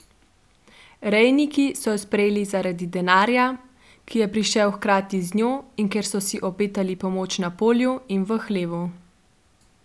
Rejniki so jo sprejeli zaradi denarja, ki je prišel hkrati z njo, in ker so si obetali pomoč na polju in v hlevu.